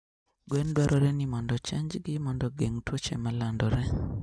Gwen dwarore ni mondo ochanjgi mondo ogeng' tuoche malandore